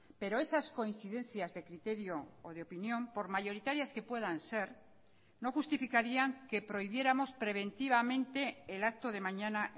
pero esas coincidencias de criterio o de opinión por mayoritarias que puedan ser no justificarían que prohibiéramos preventivamente el acto de mañana